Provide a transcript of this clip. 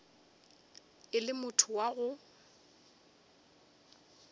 o le motho wa go